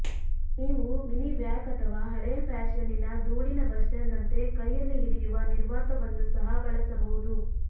ನೀವು mini vac ಅಥವಾ ಹಳೆಯ ಫ್ಯಾಶನ್ನಿನ ಧೂಳಿನ ಬಸ್ಟರ್ನಂತೆ ಕೈಯಲ್ಲಿ ಹಿಡಿಯುವ ನಿರ್ವಾತವನ್ನು ಸಹ ಬಳಸಬಹುದು